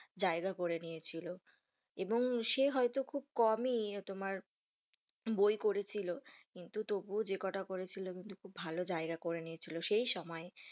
জায়গা করে নিয়েছিল, এবং সে হয়তো খুব কম ই তোমার বই করে ছিল, কিন্তু তবু ও যে কোটা করেছিল খুব ভালো জায়গা করে নিয়েছিল, সেই সময়।